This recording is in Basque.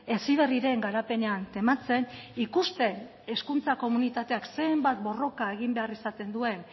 heziberriren garapenean tematzen ikusten hezkuntza komunitateak zenbat borroka egin behar izaten duen